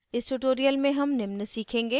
इस tutorial में हम निम्न सीखेंगे